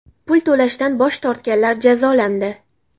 Pul to‘lashdan bosh tortganlar jazolandi.